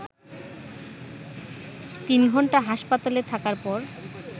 তিন ঘণ্টা হাসপাতালে থাকার পর